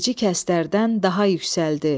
Bilicikəstlərədən daha yüksəldi.